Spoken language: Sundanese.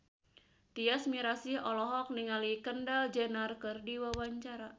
Tyas Mirasih olohok ningali Kendall Jenner keur diwawancara